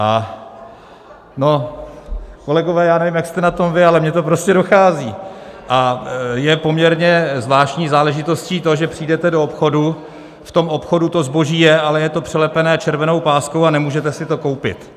No kolegové, já nevím, jak jste na tom vy, ale mně to prostě dochází, a je poměrně zvláštní záležitostí to, že přijdete do obchodu, v tom obchodu to zboží je, ale je to přelepené červenou páskou a nemůžete si to koupit.